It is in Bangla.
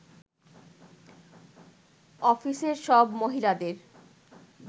অফিসের সব মহিলাদের